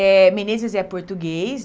é português.